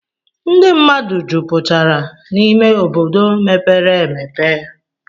Ndị mmadụ jupụtara n'ime obodo mepere emepe.